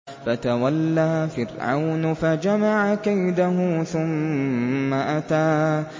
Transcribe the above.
فَتَوَلَّىٰ فِرْعَوْنُ فَجَمَعَ كَيْدَهُ ثُمَّ أَتَىٰ